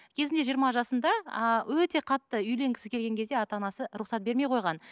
кезінде жиырма жасында ыыы өте қатты үйленгісі келген кезде ата анасы рұқсат бермей қойған